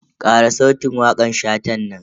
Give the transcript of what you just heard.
Kara sautin wakan Shatan nan.